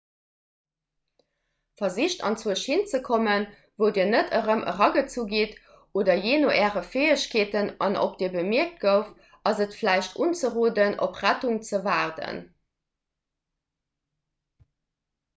versicht anzwousch hin ze kommen wou dir net erëm eragezu gitt oder jee no äre fäegkeeten an ob dir bemierkt gouft ass et vläicht unzeroden op rettung ze waarden